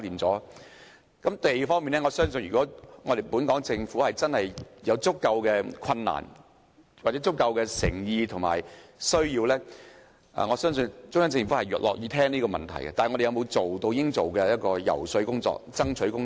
在土地方面，我相信如果政府真的有足夠的困難、誠意或需要，中央政府是樂於聽取政府的意見的，但我們有否進行應有的遊說或爭取工作？